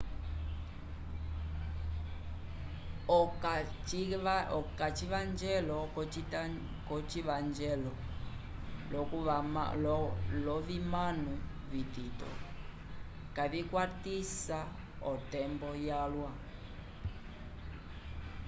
okacivanjelo yocivanjelo lovimano vitito kavicwatisa otembo yalwa